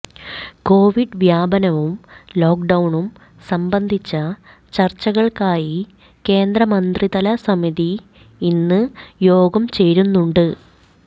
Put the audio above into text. Covid വ്യാപനവും ലോക്ക് ഡൌണും സംബന്ധിച്ച ചർച്ചകൾക്കായി കേന്ദ്രമന്ത്രിതല സമിതി ഇന്ന് യോഗം ചേരുന്നുണ്ട്